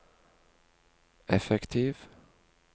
effektiv